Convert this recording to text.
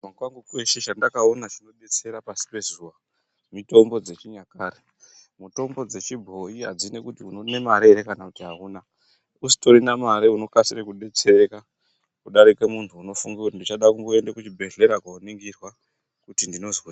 Kukura kwangu kweshe chandakaona chinodetsera pashi pezuwa mitombo dzechinyakare. Mitombo dzechibhoyi adzinei nekuti une mare ere kana kuti awuna .Usitorina mare unokasire kudetsereka kudarike muntu unofunge kuti ndichade kuende kuchibhedhlera kooningirwa kuti ndinozweyi.